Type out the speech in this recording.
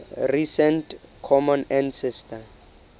recent common ancestor